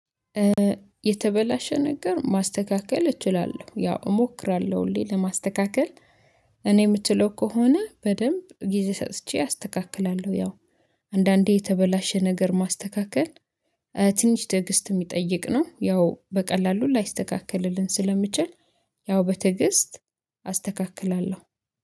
የተበላሸ ነገር ማስተካከል እችላለሁ ያው እሞክራለሁ ሁሌ ለማስተካከል እኔ የምትለው ከሆነ በደንብ ጊዜ ሰጥቼ አስተካክላለሁ። ያው አንዳንዴ የተበላሸ ነገር ማስተካከል ትንሽ ትዕግስት የሚጠይቅ ነው። ያው በቀላሉ ላይስተካከልልን ስለሚችል ያው በትዕግስት አስተካክላለሁ